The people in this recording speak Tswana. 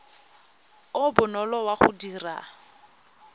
o bonolo wa go dira